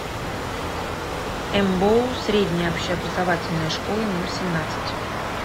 мбоу средняя общеобразовательная школа номер семнадцать